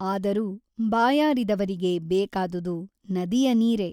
ಆದರೂ ಬಾಯಾರಿದವರಿಗೆ ಬೇಕಾದುದು ನದಿಯ ನೀರೇ !